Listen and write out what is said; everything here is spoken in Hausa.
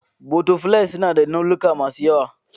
Butterflies suna da launuka masu yawa.